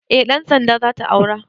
Eh ɗan sanda zata aura